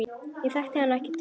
Ég þekkti hann ekkert fyrir.